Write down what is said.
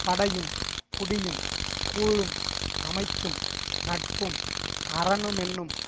படையும் குடியும் கூழும் அமைச்சும் நட்பும் அரணுமென்னும்